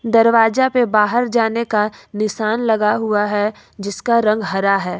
दरवाजा पे बाहर जाने का निशान लगा हुआ है जिसका रंग हरा है।